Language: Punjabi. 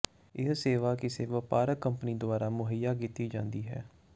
ਇਹ ਸੇਵਾ ਕਿਸੇ ਵਪਾਰਕ ਕੰਪਨੀ ਦੁਆਰਾ ਮੁਹੱਈਆ ਕੀਤੀ ਜਾਂਦੀ ਹੈ